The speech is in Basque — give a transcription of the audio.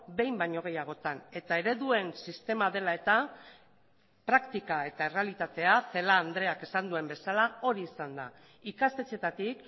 behin baino gehiagotan eta ereduen sistema dela eta praktika eta errealitatea celaá andreak esan duen bezala hori izan da ikastetxeetatik